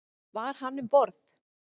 Var hann um borð?